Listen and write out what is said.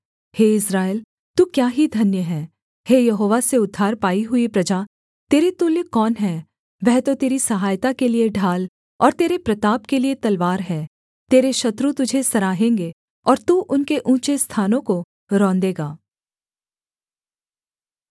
हे Israel तू क्या ही धन्य है हे यहोवा से उद्धार पाई हुई प्रजा तेरे तुल्य कौन है वह तो तेरी सहायता के लिये ढाल और तेरे प्रताप के लिये तलवार है तेरे शत्रु तुझे सराहेंगे और तू उनके ऊँचे स्थानों को रौंदेगा